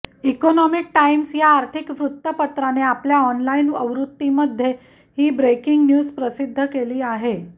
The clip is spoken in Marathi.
इकॉनॉमिक टाईम्स या आर्थिक वृत्तपत्राने आपल्या ऑनलाइन आवृत्तीमध्ये ही ब्रेकिंग न्यूज प्रसिद्ध केली आहे